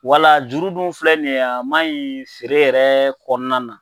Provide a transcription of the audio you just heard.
Wala juru duw filɛ nin ye a ma ɲi feere yɛrɛ kɔnɔna na.